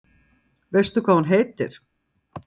Kristín María: Veistu hvað hún heitir?